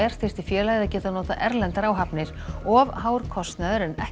þyrfti félagið að geta notað erlendar áhafnir of hár kostnaður en ekki